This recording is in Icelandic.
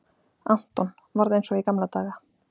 Anton, varð eins og í gamla daga.